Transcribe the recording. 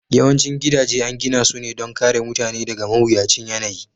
Yawancin gidaje an gina su ne don kare mutane daga mawuyacin yanayi